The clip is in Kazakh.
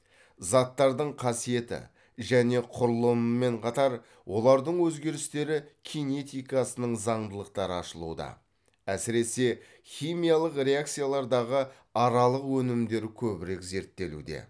заттардың қасиеті және құрылымымен қатар олардың өзгерістері кинетикасының заңдылықтары ашылуда әсіресе химиялық реакциялардағы аралық өнімдер көбірек зерттелуде